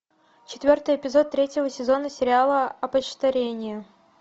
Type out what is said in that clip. четвертый эпизод третьего сезона сериала опочтарение